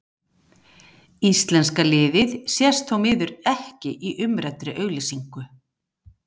Íslenska liðið sést þó því miður ekki í umræddri auglýsingu.